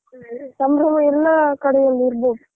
ಹ್ಮ್ ಸಂಭ್ರಮ ಎಲ್ಲಾ ಕಡೆಯಲ್ಲಿ ಇರ್ಬೋದು.